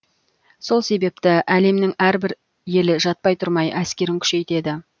сол себепті әлемнің әрбір елі жатпай тұрмай әскерін күшейтеді